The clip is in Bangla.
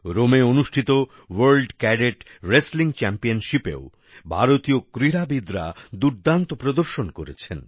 রোমে অনুষ্ঠিত ওয়ার্ল্ড ক্যাডেট রেসলিং চ্যাম্পিয়নশিপেও ভারতীয় ক্রীড়াবিদরা দুর্দান্ত প্রদর্শন করেছেন